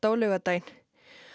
á laugardaginn